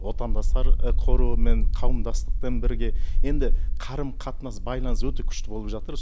отандастар қорымен қауымдастықпен бірге енді қарым қатынас байланыс өте күшті болып жатыр